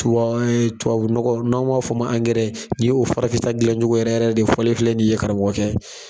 Tuae, tubabunɔgɔ n'an b'a f'o ma angɛrɛ ni o farafin ta dilancogo yɛrɛ yɛrɛ de fɔ filɛ ni ye karamɔgɔkɛ.